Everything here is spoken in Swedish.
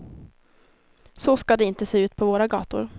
Så ska det inte se ut på våra gator.